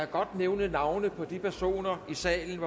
godt nævne navne på de personer i salen